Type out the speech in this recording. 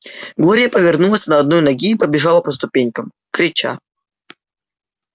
глория повернулась на одной ноге и побежала по ступенькам крича